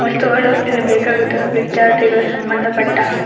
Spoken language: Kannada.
ವಸ್ತುಗಳು ಇಲ್ಲಿ ಬೇಕಾಗುತ್ತದೆ ವಿದ್ಯಾರ್ಥಿಗಳು ಸಂಬಂಧ ಪಟ್ಟ ಹಾಗೆ --